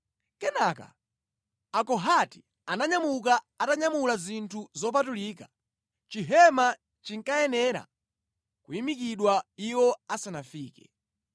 Kenaka Akohati ananyamuka atanyamula zinthu zopatulika. Chihema chinkayenera kuyimikidwa iwo asanafike.